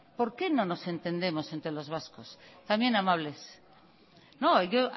por qué no nos entendemos entre los vascos también amables no yo